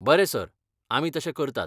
बरें सर, आमी तशें करतात.